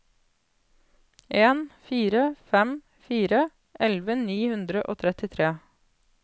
en fire fem fire elleve ni hundre og trettitre